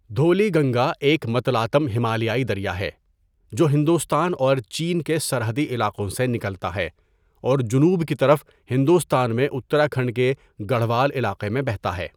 دھولی گنگا ایک متلاطم ہمالیائی دریا ہے جو ہندوستان اور چین کے سرحدی علاقوں سے نکلتا ہے اور جنوب کی طرف ہندوستان میں اتراکھنڈ کے گڑھوال علاقے میں بہتا ہے۔